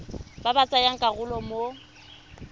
ba ba tsayang karolo mo